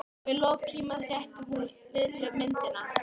Og í lok tímans rétti hún Lillu myndina.